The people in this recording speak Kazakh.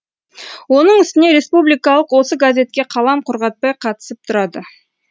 оның үстіне республикалық осы газетке қалам құрғатпай қатысып тұрады